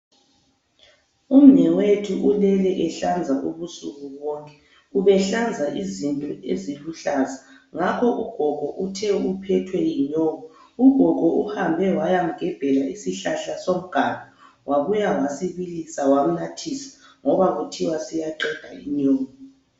Umnewethu ulele ehlanza ubusuku bonke. Ubehlanza izinto eziluhlaza ngakho ugogo uthe uphethwe yinyongo. Ugogo uhambe wayamgebhela isihlahla somganu wabuya wasibilisa wamnathisa ngoba kuthiwa siyaqeda inyongo.